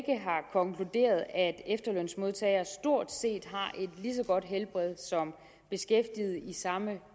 konkluderet at efterlønsmodtagere stort set har et lige så godt helbred som beskæftigede i samme